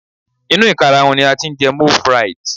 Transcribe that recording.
inu ikaraun ni a ti n je moule frite